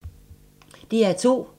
DR2